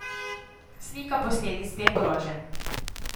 Slika posledic teh groženj.